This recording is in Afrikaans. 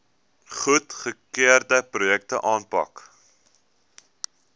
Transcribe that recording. goedgekeurde projekte aanpak